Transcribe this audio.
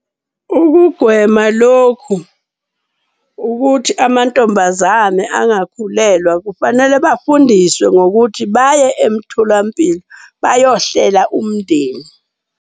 Ukugwema lokhu ukuthi amantombazane angakhulelwa, kufanele bafundiswe ngokuthi baye emtholampilo bayohlela umndeni.